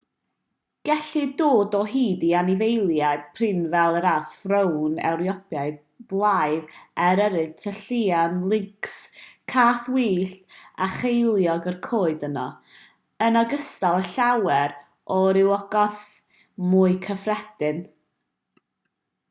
gellir dod o hyd i anifeiliaid prin fel yr arth frown ewropeaidd blaidd eryr tylluan lyncs cath wyllt a cheiliog y coed yno yn ogystal â llawer o rywogaethau mwy cyffredin